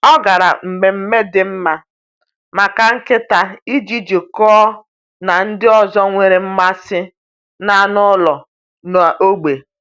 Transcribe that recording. Ọ gara mmemme dị mma maka nkịta iji jikọọ na ndị ọzọ nwere mmasị n’anụ ụlọ n’ógbè.